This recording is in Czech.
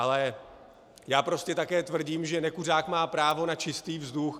Ale já prostě také tvrdím, že nekuřák má právo na čistý vzduch.